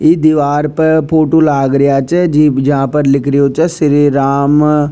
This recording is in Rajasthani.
ई दिवार पे फोटो लाग रेया छ जी पर जा पे लिख रिया छ श्री राम --